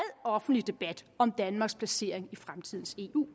offentlig debat om danmarks placering i fremtidens eu